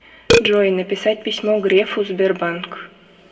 джой написать письмо грефу сбербанк